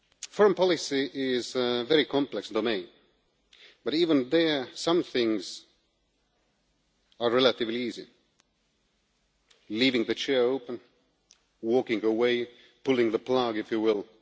Foreign policy is a very complex domain, but even there, some things are relatively easy leaving the chair open, walking away, pulling the plug, if you will.